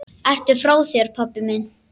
Ertu frá þér, pabbi minn?